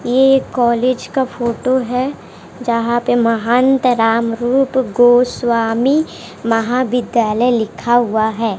एक कॉलेज का फोटो है जहां पर महंत राम रूप गोस्वामी महाविद्यालय लिखा हुआ है।